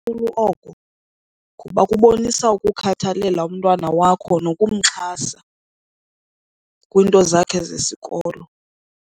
oko ngoba kubonisa ukukhathalela umntwana wakho nokumxhasa kwiinto zakhe zesikolo.